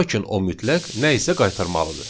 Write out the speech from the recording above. Lakin o mütləq nə isə qaytarmalıdır.